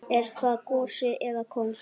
Er það gosi eða kóngur?